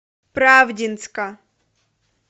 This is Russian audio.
правдинска